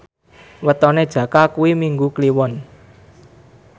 wetone Jaka kuwi Minggu Kliwon